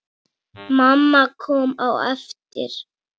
Mamma kom á eftir.